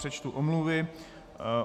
Přečtu omluvy.